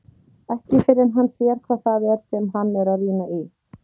Ekki fyrr en hann sér hvað það er sem hann er að rýna í.